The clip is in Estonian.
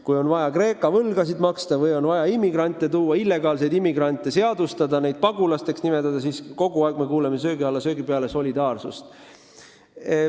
Kui on vaja Kreeka võlgasid maksta või on vaja immigrante riiki tuua, illegaalseid immigrante seadustada, neid pagulasteks nimetada, siis me ikka kuuleme söögi alla ja söögi peale juttu solidaarsusest.